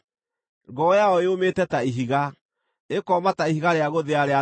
Ngoro yayo yũmĩte ta ihiga, ĩkooma ta ihiga rĩa gũthĩa rĩa na thĩ.